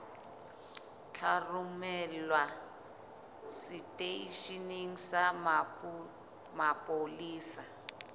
tla romelwa seteisheneng sa mapolesa